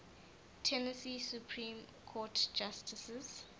tennessee supreme court justices